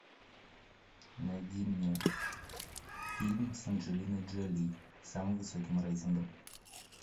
найди мне фильм с анджелиной джоли с самым высоким рейтингом